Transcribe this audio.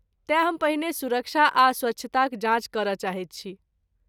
तेँ हम पहिने सुरक्षा आ स्वच्छताक जाँच करय चाहैत छी।